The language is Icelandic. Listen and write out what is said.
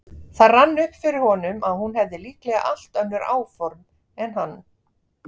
Það rann upp fyrir honum að hún hefði líklega allt önnur áform en hann.